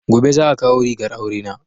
Gobe za a kawo rigar aure na